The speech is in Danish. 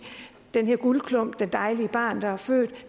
den her guldklump det dejlige barn der er født